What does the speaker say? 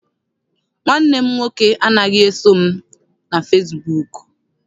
Nwanne m nwoke anaghị eso m na fesibuuku.